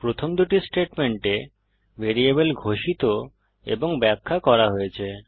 প্রথম দুটি স্টেটমেন্টে ভ্যারিয়েবল ঘোষিত এবং ব্যাখ্যা করা হয়েছে